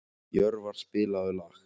Jörvar, spilaðu lag.